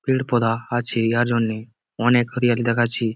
পের পধা আছে ইয়ার জন্যে অনেক হরিয়ালি দেখাচ্চে।